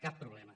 cap problema